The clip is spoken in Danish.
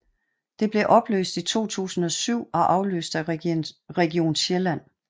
Det blev opløst i 2007 og afløst af Region Sjælland